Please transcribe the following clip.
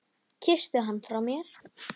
Kysstu hann frá mér.